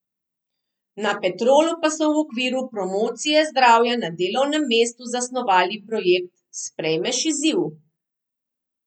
Na Petrolu pa so v okviru promocije zdravja na delovnem mestu zasnovali projekt Sprejmeš izziv?